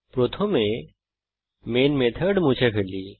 প্রথমে main method মুছে ফেলি